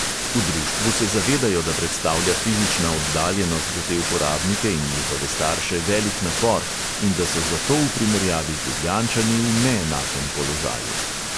V društvu se zavedajo, da predstavlja fizična oddaljenost za te uporabnike in njihove starše velik napor in da so zato v primerjavi z ljubljančani v neenakem položaju.